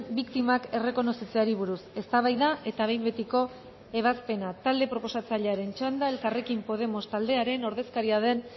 biktimak errekonozitzeari buruz eztabaida eta behin betiko ebazpena talde proposatzailearen txanda elkarrekin podemos taldearen ordezkaria den